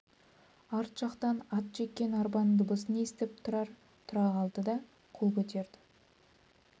арт жақтан ат жеккен арбаның дыбысын есітіп тұрар тұра қалды да қол көтерді